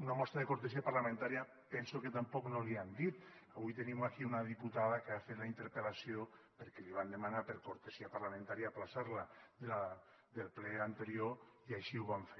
una mostra de cortesia parlamentària penso que tampoc no li han dit avui tenim aquí una diputada que ha fet la interpel·lació perquè li van demanar per cortesia parlamentària aplaçar la del ple anterior i així ho vam fer